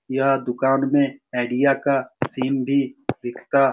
यह दुकान में आईडिया का सिम भी बिकता --